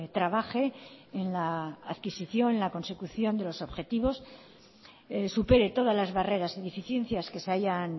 trabaje en la adquisición la consecución de los objetivos supere todas las barreras y deficiencias que se hayan